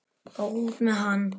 Og út með hann!